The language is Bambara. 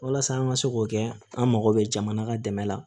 Walasa an ka se k'o kɛ an mago bɛ jamana ka dɛmɛ la